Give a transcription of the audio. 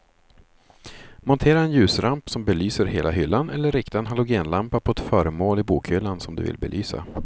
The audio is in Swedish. Montera en ljusramp som belyser hela hyllan eller rikta en halogenlampa på ett föremål i bokhyllan som du vill belysa.